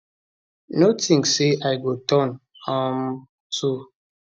no tink say i go turn um to